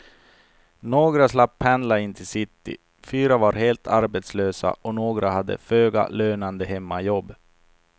Några slapp pendla in till city, fyra var helt arbetslösa och några hade föga lönande hemmajobb.